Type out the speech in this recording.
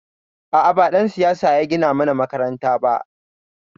A'a, ba ɗan siyasa ya gina mana makaranta ba.